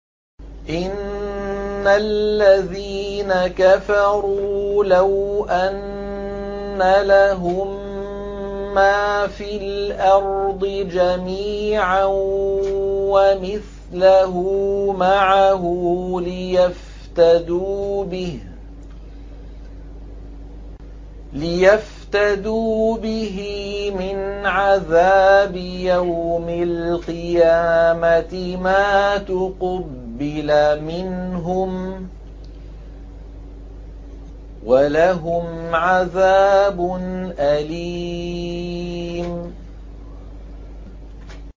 إِنَّ الَّذِينَ كَفَرُوا لَوْ أَنَّ لَهُم مَّا فِي الْأَرْضِ جَمِيعًا وَمِثْلَهُ مَعَهُ لِيَفْتَدُوا بِهِ مِنْ عَذَابِ يَوْمِ الْقِيَامَةِ مَا تُقُبِّلَ مِنْهُمْ ۖ وَلَهُمْ عَذَابٌ أَلِيمٌ